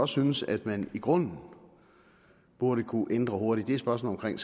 synes at man i grunden burde kunne ændre hurtigt er spørgsmålet